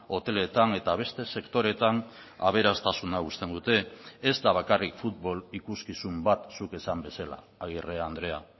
hoteletan eta beste sektoreetan aberastasuna uzten dute ez da bakarrik futbol ikuskizun bat zuk esan bezala agirre andrea